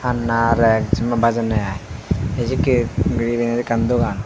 alna rag Jin piy bejonne iy a sekki ekkan dogan.